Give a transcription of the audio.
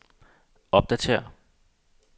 opdatér